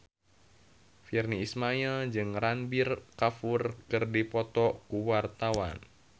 Virnie Ismail jeung Ranbir Kapoor keur dipoto ku wartawan